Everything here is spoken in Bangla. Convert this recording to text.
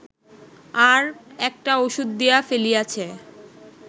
আর একটা ঔষধ দিয়া ফেলিয়াছে